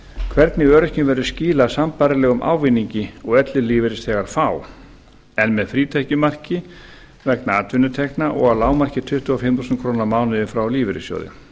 hvernig öryrkjum verði skilað sambærilegum ávinningi og ellilífeyrisþegar fá en með frítekjumarki vegna atvinnutekna og að lágmarki tuttugu og fimm þúsund krónur á mánuði frá lífeyrissjóði